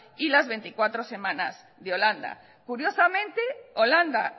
y las veinticuatro semanas de holanda curiosamente holanda